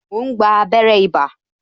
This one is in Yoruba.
Mo ń gba abere ibà